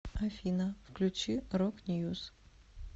афина включи рок ньюс